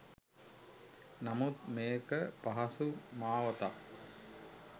නමුත් මේක පහසු මාවතක්